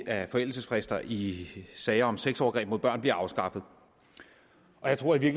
at forældelsesfrister i sager om sexovergreb mod børn bliver afskaffet jeg tror jeg